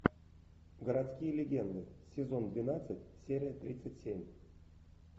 городские легенды сезон двенадцать серия тридцать семь